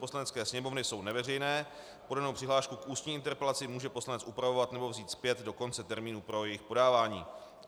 Poslanecké sněmovny jsou neveřejné, podanou přihlášku k ústní interpelaci může poslanec upravovat nebo vzít zpět do konce termínu pro jejich podávání.